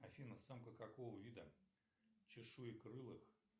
афина самка какого вида чешуекрылых